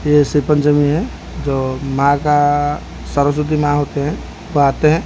ये सिपन जमीन है जो मां का सरस्वती मां होते हैं वो आते हैं।